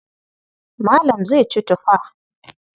Malam zai ci tufa.